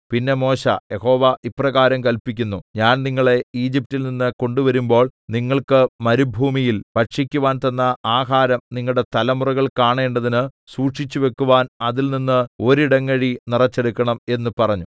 പിന്നെ മോശെ യഹോവ ഇപ്രകാരം കല്പിക്കുന്നു ഞാൻ നിങ്ങളെ ഈജിപ്റ്റിൽ നിന്ന് കൊണ്ടുവരുമ്പോൾ നിങ്ങൾക്ക് മരുഭൂമിയിൽ ഭക്ഷിക്കുവാൻ തന്ന ആഹാരം നിങ്ങളുടെ തലമുറകൾ കാണേണ്ടതിന് സൂക്ഷിച്ചുവയ്ക്കുവാൻ അതിൽനിന്ന് ഒരിടങ്ങഴി നിറച്ചെടുക്കണം എന്ന് പറഞ്ഞു